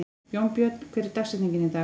Jónbjörn, hver er dagsetningin í dag?